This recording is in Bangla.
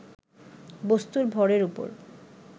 বস্তুর ভরের উপর